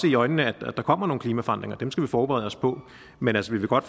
i øjnene at der kommer nogle klimaforandringer og dem skal vi forberede os på men altså vi kan godt